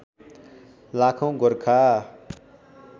लागौँ Gorkha